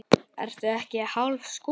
Ertu ekki hálfur skoti?